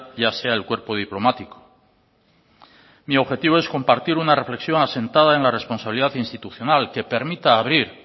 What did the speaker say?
ya sea el cuerpo diplomático mi objetivo es compartir una reflexión asentada en la responsabilidad institucional que permita abrir